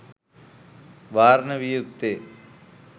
වාරණය විය යුත්තේ